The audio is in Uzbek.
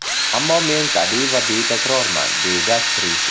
Ammo men tabiiy va betakrorman”, − deydi aktrisa.